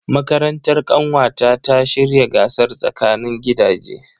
Makarantar ƙanwata ta shirya gasar tsakanin gidaje.